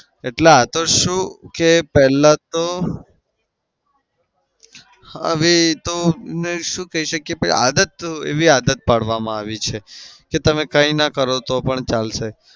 એટલે આતો શું કે પેલા તો હવે શું કઈ શકીએ પણ આદત એવી આદત પાડવામાં આવી છે કે તમે કંઈના કરો તો પણ ચાલશે.